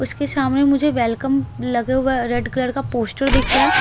उसके सामने मुझे वेलकम लगा हुआ रेड कलर का पोस्टर दिख रहा है --